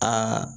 Aa